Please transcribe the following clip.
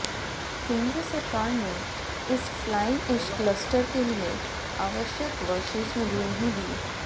केंद्र सरकार ने इस फ्लाई एश क्लस्टर के लिए आवश्यक व शेष निधि नहीं दी